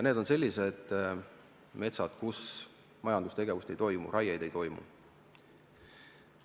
Need on sellised metsad, kus majandustegevust ei toimu, raiet ei toimu.